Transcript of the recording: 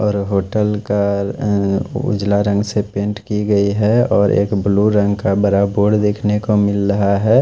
और होटल का उजला रंग से पैंट की गयी है और एक ब्लू रंग का बड़ा बोर्ड देख नेको मिल रहा है।